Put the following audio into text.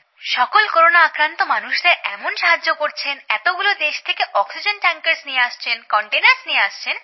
সকল করোনাআক্রান্ত মানুষদের এমন সাহায্য করছেন এতগুলো দেশ থেকে অক্সিজেন ট্যাংকার্স নিয়ে আসছেন কন্টেনার্স নিয়ে আসছেন